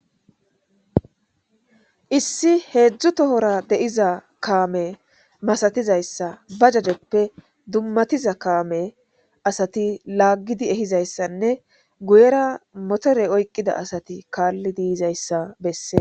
Issi hezdzdu tora deiza kame masatizayisa bazotappe dumatiza kamey betizayisa dumatizayisa kame asati lagidi eyizayisanne guyera motore oyiqida asat kalid yizayis besees